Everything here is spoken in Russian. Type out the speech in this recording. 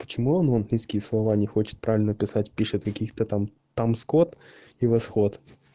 почему он английские слова не хочет правильно писать пишет каких-то там там скот и восход